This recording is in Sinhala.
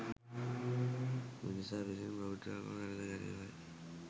මිනිසා විසින් බෞද්ධාගම වැලඳ ගැනීමයි.